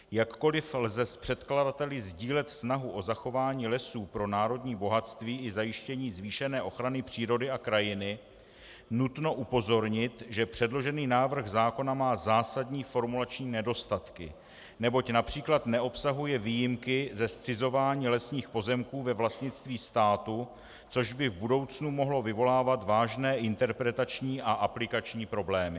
Jakkoliv lze s předkladateli sdílet snahu o zachování lesů pro národní bohatství i zajištění zvýšené ochrany přírody a krajiny, nutno upozornit, že předložený návrh zákona má zásadní formulační nedostatky, neboť například neobsahuje výjimky ze zcizování lesních pozemků ve vlastnictví státu, což by v budoucnu mohlo vyvolávat vážné interpretační a aplikační problémy.